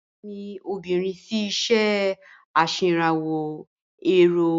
Àbúrò mi obìnrin fí iṣé aṣèrànwó ẹ̀rò